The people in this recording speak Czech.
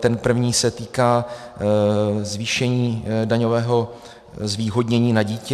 Ten první se týká zvýšení daňového zvýhodnění na dítě.